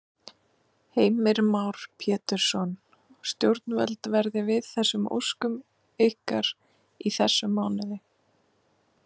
Heimir Már Pétursson: Stjórnvöld verði við þessum óskum ykkar í þessum mánuði?